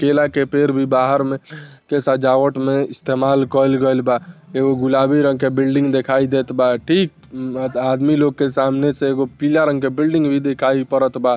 केला के पेड़ भी बाहर मे के सजावट मे इस्तेमाल कएल गईल बा एकगो गुलाबी रंग के बिल्डिंग दिखाई देत बा ठीक आदमी लोग के सामने से एगो पीला रंग के बिल्डिंग भी दिखाई परत बा।